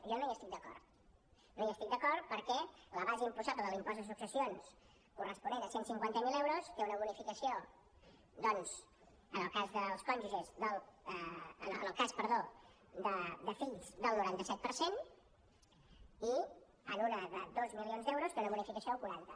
jo no hi estic d’acord no hi estic d’acord perquè la base imposable de l’impost de successions corresponent a cent i cinquanta miler euros té una bonificació doncs en el cas de fills del noranta set per cent i en una de dos milions d’euros té una bonificació del quaranta